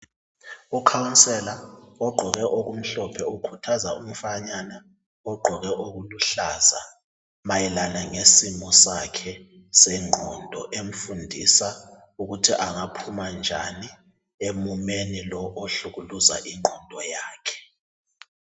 Ukhansela ogqoke okumhlophe okhuthaza umfanyana ogqoke okuluhlaza mayelana ngesimo sakhe sengqondo emfundisa ukuthi angaphuma njani emumeni lobo ubuhlukuluza ingqondo yakhe